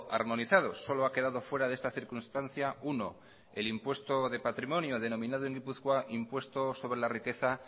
armonizados solo ha quedado fuera de esta circunstancia uno el impuesto de patrimonio denominado en gipuzkoa impuesto sobre la riqueza